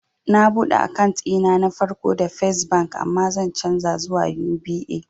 Na buɗe akant ɗina na farko da fes bank amma zan canja zuwa UBA